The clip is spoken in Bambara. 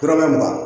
Dɔrɔmɛ mugan